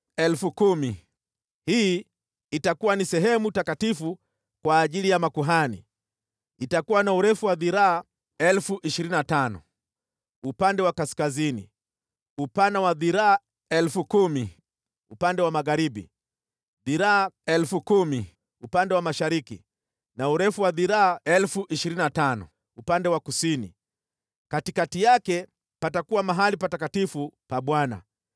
Hii itakuwa ni sehemu takatifu kwa ajili ya makuhani. Itakuwa na urefu wa dhiraa 25,000 upande wa kaskazini, upana wa dhiraa 10,000 upande wa magharibi, dhiraa 10,000 upande wa mashariki na urefu wa dhiraa 25,000 upande wa kusini. Katikati yake patakuwa mahali patakatifu pa Bwana .